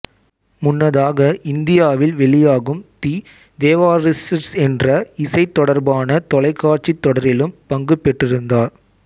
முன்னதாக இந்தியாவில் வெளியாகும் தி தேவாரிஸ்ட்ஸ் என்ற இசை தொடர்பான தொலைக்காட்சித் தொடரிலும் பங்குபெற்றிருந்தார்